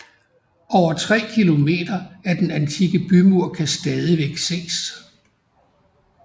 Over tre km af den antikke bymur kan stadigvæk ses